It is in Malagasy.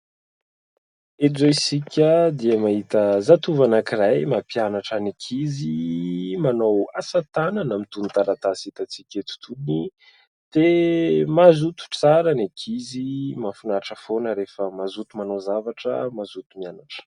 Eto izao isika dia mahita zatovo anankiray mampianatra ny ankizy manao asatanana amin'itony taratasy hitantsika eto itony. Dia mazoto tsara ny ankizy ! Mahafinaritra foana rehefa mazoto manao zavatra, mazoto mianatra !